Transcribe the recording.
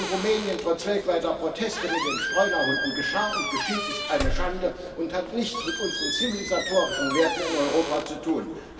Was in Rumänien trotz weltweiter Proteste mit den Streunerhunden geschah und geschieht, ist eine Schande und hat nichts mit unseren zivilisatorischen Werten in Europa zu tun.